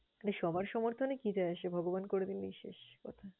মানে সবার সমর্থনে কি যায় আসে? ভগবান করে দিলেই শেষ কথা।